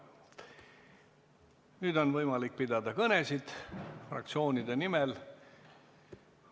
Nüüd on võimalik pidada kõnet fraktsioonide nimel.